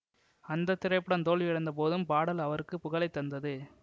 அந்த திரைப்படம் தோல்வியடைந்த போதும் பாடல் அவருக்கு புகழை தந்தது